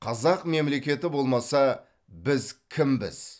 қазақ мемлекеті болмаса біз кімбіз